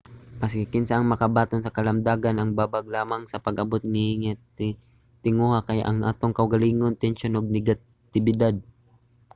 maski kinsa ang makabaton sa kalamdagan. ang babag lamang sa pag-abot niini nga tinguha kay ang atong kaugalingong tensyon ug negatibidad